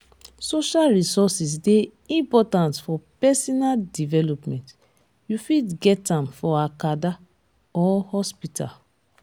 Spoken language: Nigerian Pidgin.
social resources de important for personal development you fit get am for acada or hospital